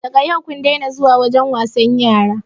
Daga yau kun dena zuwa wajen wasan yara